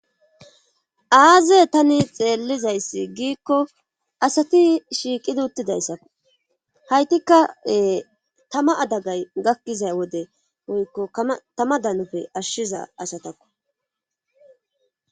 Aaze tani xeellizayssi giikko asati shiiqidi uttidayssa haytikkae tama adagay gakkizay wode goykko tama danufe ashshiza asatakko